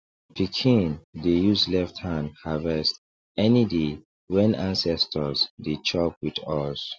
pikin dey use left hand harvest any day when ancestors dey chop with us